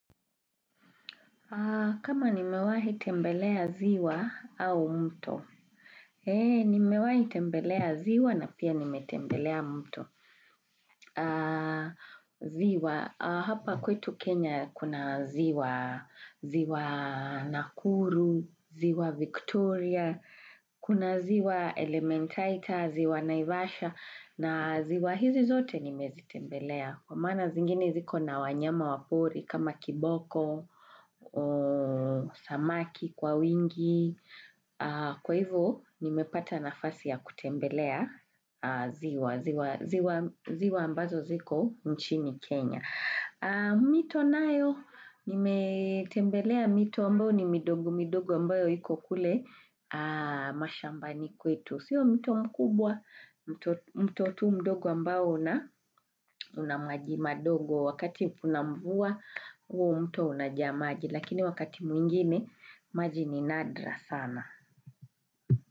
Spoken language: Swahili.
Kama nimewahi tembelea ziwa au mto, nimewahi tembelea ziwa na pia nimetembelea mto. Ziwa, hapa kwetu Kenya kuna ziwa nakuru, ziwa Victoria, kuna ziwa elementaita, ziwa naivasha, na ziwa hizi zote nimezi tembelea. Kwa mana zingini ziko na wanyama wapori kama kiboko, samaki, kwa wingi. Kwa hivyo, nimepata nafasi ya kutembelea ziwa. Ziwa ambazo ziko mchini Kenya. Mito nayo, nimetembelea mito ambao ni midogo midogo ambayo hiko kule mashambani kwetu Siyo mito mkubwa, mto tu mdogo ambao na unamaji madogo wakati punamvua u mto unajamaji Lakini wakati mwingine, maji ni nadra sana.